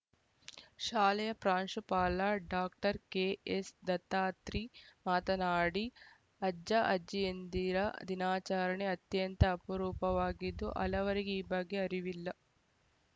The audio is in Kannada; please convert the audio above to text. ಶಾಲೆಯ ಪ್ರಾಂಶುಪಾಲ ಡಾಕ್ಟರ್ ಕೆಎಸ್‌ ದತ್ತಾತ್ರಿ ಮಾತನಾಡಿ ಅಜ್ಜಅಜ್ಜಿಯಂದಿರ ದಿನಾಚರಣೆ ಅತ್ಯಂತ ಅಪರೂಪವಾಗಿದ್ದು ಹಲವರಿಗೆ ಈ ಬಗ್ಗೆ ಅರಿವಿಲ್ಲ